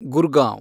Gurgaon